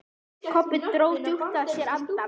Kobbi dró djúpt að sér andann.